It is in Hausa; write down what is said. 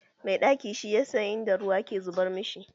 Mai ɗaki shi ya san inda ruwa ke zubar mashi.